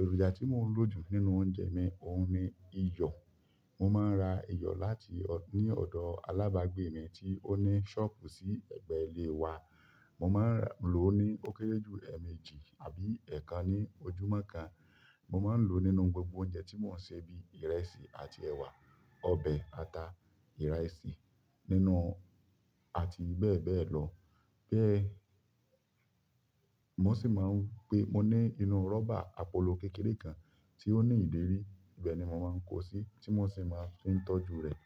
Èròjà tí mo ń lò jù nínú oúnjẹ mi òun ni iyọ̀. Mo máa ń ra iyọ̀ ní ọ̀dọ̀ alábàágbé mi tí ó ní ṣọ́ọ̀bù sí ẹ̀gbẹ́ ilé wa. Mo maa n loo ni o kere ju ni eemeji àbí eekan ni ojúmọ́ kan. Mo máa ń lò ó nínú gbogbo oúnjẹ tí mo ń sè bí ìrẹsì àti ẹ̀wà, ọbẹ̀ ata, ìrẹsì àti bẹ́ẹ̀ bẹ́ẹ̀ lọ. Bẹ́ẹ̀, mo ní inú rọ́bà agolo kékeré kan tí ó ní ìdérí ti mo maa n daa si. Ibẹ̀ ni mo máa ń kó sí tí mo sì máa fi ń tọ́jú rẹ̀.